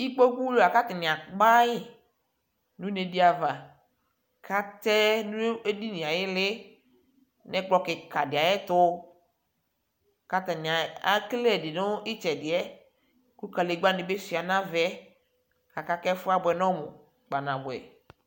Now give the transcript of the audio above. Ikpokudi la kaluakpayi nunediava katɛɛ nu edinie ayiili ɛkplɔ kika ayɛtu katani ekele ɛdibi nitsɛdiɛ ku medegba nii suaa navaɛ ɛɛfuabwɛ nɔmu kpanabuɛ